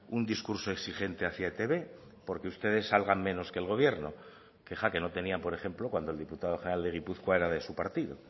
un discurso exigente hacia etb porque ustedes salgan menos que el gobierno queja que no tenían por ejemplo cuando el diputado general de gipuzkoa era de su partido